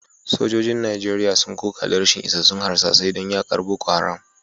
Sojojin Najeriya sun koka da rashin isassun harsasai don yakar Boko Haram